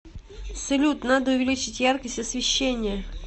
салют надо увеличить яркость освещения